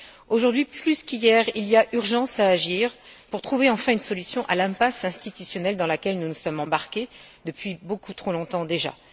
Aujourd'hui plus qu'hier, il y a urgence à agir pour trouver enfin une solution à l'impasse institutionnelle dans laquelle nous nous sommes engouffrés depuis beaucoup trop longtemps déjà.